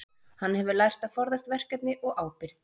Hann hefur lært að forðast verkefni og ábyrgð.